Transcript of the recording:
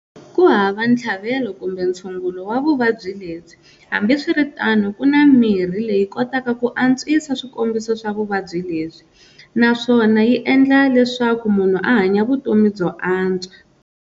Kuhava nthlavelo kumbe nthsungulo wa vuvabyi lebyi, hambi swiritano kuna mirhi leyi kotaka ku antswisa swikombiso swa vuvabyi lebyi, naswona yi endla leswaku munhu ahanya vutomi byo antswa.